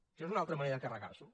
això és una altra manera de carregars’ho